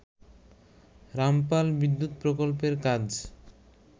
রামপাল বিদ্যুৎ প্রকল্পের কাজ